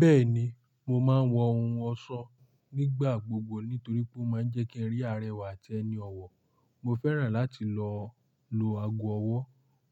Bẹ́ẹ̀ni, mo máa ń wọ ohun ọ̀ṣọ nígbà gbogbo nítorí pé ó máa ń jẹ́ kí e rí àrẹwà àti ẹni ọ̀wọ̀. Mo fẹ́ràn láti lọ lo ago ọwọ́,